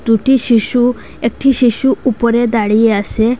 দুটি শিশু একটি শিশু উপরে দাঁড়িয়ে আসে।